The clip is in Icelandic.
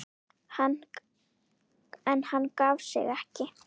En hann gaf sig ekki.